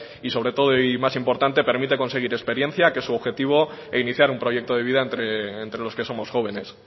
y sobre todo y más importante permite conseguir experiencia que es su objetivo e iniciar un proyecto de vida entre los que somos jóvenes